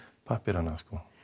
pappírana